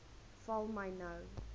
val my nou